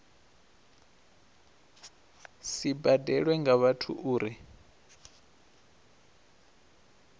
si badelwe nga vhathu uri